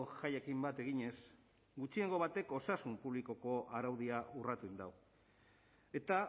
jaiekin bat eginez gutxiengo batek osasun publikoko araudia urratu egin du eta